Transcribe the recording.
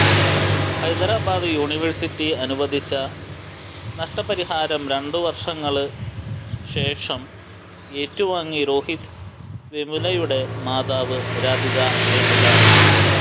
Hyderabad university അനുവദിച്ച നഷ്ടടപരിഹാരം രണ്ടുവര്ഷങ്ങള് ശേഷം ഏറ്റുവാങ്ങി രോഹിത് വെമുലയുടെ മാതാവ് രാധിക വെമുല